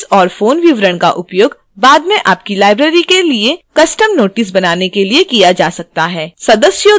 address और phone विवरण का उपयोग बाद में आपकी library के लिए custom notices बनाने के लिए किया जा सकता है